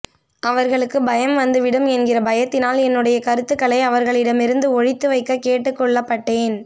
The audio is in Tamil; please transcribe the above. அவர்களுக்குப் பயம் வந்து விடும் என்கிற பயத்தினால் என்னுடைய கருத்துகளை அவர்களிடமிருந்து ஒளித்து வைக்க கேட்டுக் கொள்ளப்பட்டேன்